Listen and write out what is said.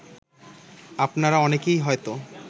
আপনারা অনেকেই হয়ত